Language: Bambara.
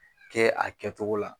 Kɛ a kɛtogo la.